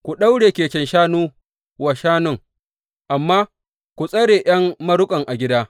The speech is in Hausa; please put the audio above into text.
Ku daure keken shanu wa shanun, amma ku tsare ’yan maruƙansu a gida.